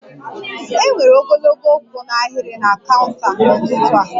E nwere ogologo kwụ n'ahiri na kaunta n'ụtụtụ a